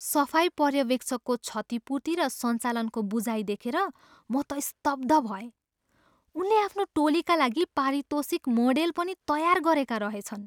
सफाई पर्यवेक्षकको क्षतिपूर्ति र सञ्चालनको बुझाइ देखेर म त स्तब्ध भएँ। उनले आफ्नो टोलीका लागि पारितोषिक मोडेल पनि तयार गरेका रहेछन्।